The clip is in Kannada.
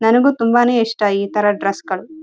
ಹಾಗಾಗಿ ಗಂಡು ಮಕ್ಕಳಿಗಿಂತ ಹೆಣ್ಣು ಮಕ್ಕಳಿಗೆ ಬಟ್ಟೆ ಅಂದ್ರೆ ತುಂಬಾ ಇಷ್ಟ.